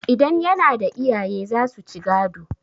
idan yana da iyaye za su ci gado